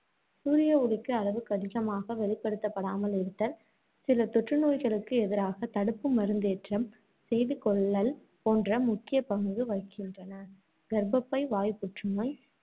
சூரிய ஒளிக்கு அளவுக்கதிகமாக வெளிப்படுத்தப்படாமல் இருத்தல், சில தொற்றுநோய்களுக்கு எதிராக தடுப்பு மருந்தேற்றம் செய்துகொள்ளல் போன்றன முக்கிய பங்கு வகிக்கின்றன. கர்ப்பப்பை வாய்ப் புற்றுநோய்,